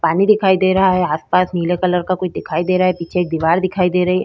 पानी दिखाई दे रहा है आसपास नीले कलर का कुछ दिखाई दे रहा है पीछे एक दीवार दिखाई दे रही --